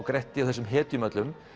Gretti og þessum hetjum öllum